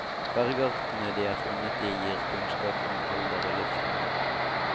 Bergartene de er funnet i gir kunnskap om alder og livsmiljø.